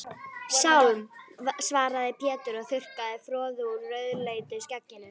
Sálm, svaraði Pétur og þurrkaði froðu úr rauðleitu skegginu.